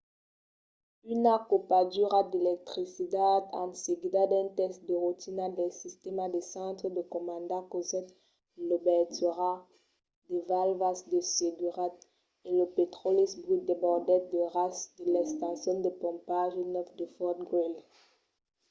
una copadura d’electricitat en seguida d'un test de rotina del sistèma de centre de comanda causèt l'obertura de valvas de seguretat e lo petròli brut desbordèt a ras de l’estacion de pompatge 9 de fort greely